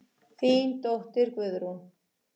Þín dóttir, Guðrún.